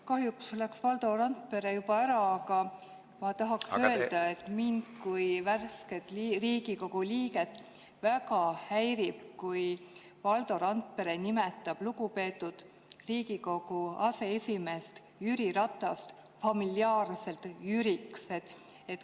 Kahjuks läks Valdo Randpere juba ära, aga ma tahaksin öelda, et mind kui värsket Riigikogu liiget väga häirib, kui Valdo Randpere nimetab lugupeetud Riigikogu aseesimeest Jüri Ratast familiaarselt Jüriks.